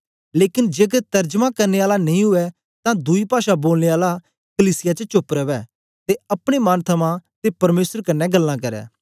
लेकन जेकर तरजमा करने आला नेई उवै तां दुई पाषा बोलने आला कलीसिया च चोप्प रवै ते अपने मन थमां ते परमेसर कन्ने गल्लां करै